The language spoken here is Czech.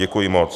Děkuji moc.